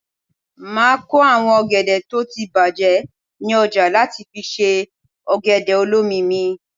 Máa kó àwọn ọ̀gẹ̀dẹ̀ tó ti bàjé ní ọjà láti fi ṣe ọ̀gẹ̀dẹ̀ olómi mi.